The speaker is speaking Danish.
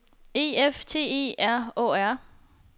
E F T E R Å R